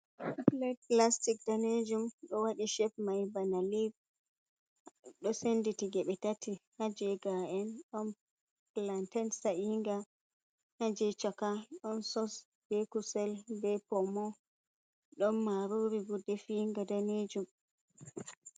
Plat plastic danejum do wadi shep mai bana lev, ɗo senditi ge be tati, ha gefeni don plantan sainga, haje chaka ɗon sos, be kusel ,be pomo don maruri bo definga danejum.